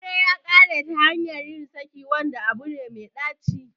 Aure ya kare ta hanyar yin saki, wanda abu ne mai ɗaci